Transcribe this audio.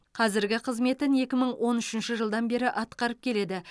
қазіргі қызметін екі мың он үшінші жылдан бері атқарып келеді